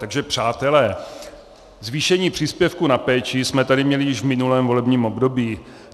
Takže přátelé, zvýšení příspěvku na péči jsme tady měli již v minulém volebním období.